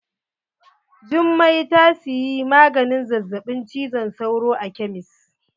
Jummai ta siyi maganin zazzaɓin cizon sauro a kemis.